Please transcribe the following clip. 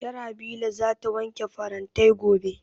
Sharhabila za ta wanke farantai gobe